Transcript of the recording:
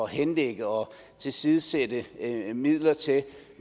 henlægge og tilsidesætte midler til